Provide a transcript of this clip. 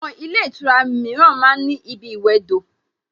Àwon ilé ìtura ma ń ní ibi ìwẹdò